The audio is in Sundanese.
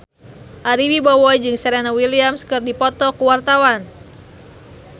Ari Wibowo jeung Serena Williams keur dipoto ku wartawan